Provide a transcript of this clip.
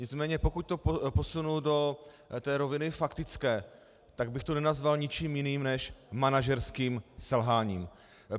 Nicméně pokud to posunu do té roviny faktické, tak bych to nenazval ničím jiným než manažerským selháním.